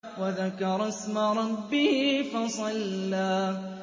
وَذَكَرَ اسْمَ رَبِّهِ فَصَلَّىٰ